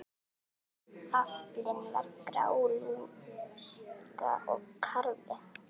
Aflinn var grálúða og karfi.